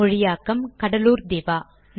மொழியாக்கம் கடலூர் திவா